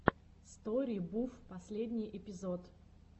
стори буф последний эпизод